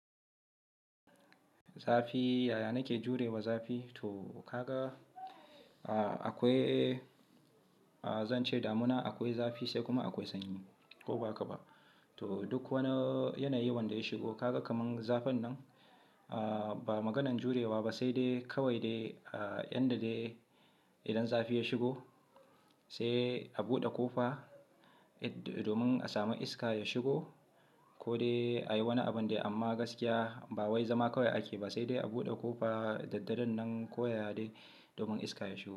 Zafi, yaya nake jurewa zafi? To ka ga, a-akwai Zan ce damuna akwai zafi sai kuma akwai sanyi ko ba haka ba. To duk wani yanayi wanda ya shigo kaga kaman zafin nan, a-ba maganan jurewa ba, sai dai kawai dai yanda dai idan zafi ya shigo sai a buɗe ƙofa domin a sami iska ya shigo ko dai a yi wani abin dai. Amma gaskiya ba wai zama kawai ake ba, sai dai a buɗe ƙofa da daddare nan koyaya de domin iska ya shigo.